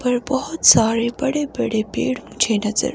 पर बहोत सारे बड़े बड़े पेड़ मुझे नजर--